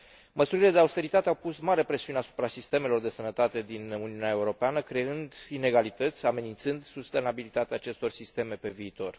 Măsurile de austeritate au pus mare presiune asupra sistemelor de sănătate din Uniunea Europeană, creând inegalități, amenințând sustenabilitatea acestor sisteme pe viitor.